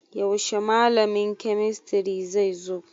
Yaushe malamin kemistry zai zo?